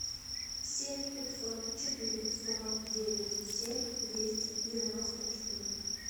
семь пятьсот четыре сорок девять семь двести девяносто четыре